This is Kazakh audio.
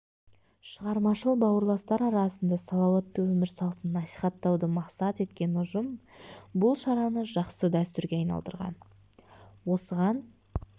шығармашыл бауырластар арасында салауатты өмір салтын насихаттауды мақсат еткен ұжым бұл шараны жақсы дәстүрге айналдырған осыған